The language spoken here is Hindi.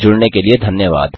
हमसे जुड़ने के लिए धन्यवाद